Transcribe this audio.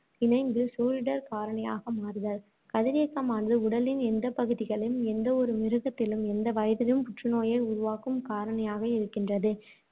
இணைந்து சூழிடர் காரணியாக மாறுதல் கதிரியக்கமானது உடலின் எந்தப் பகுதியிலும், எந்த ஒரு மிருகத்திலும், எந்த வயதிலும் புற்றுநோயை உருவாக்கும் காரணியாக இருக்கின்றது.